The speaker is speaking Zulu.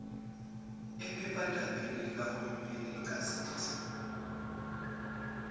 ephephandabeni likahulumeni igazette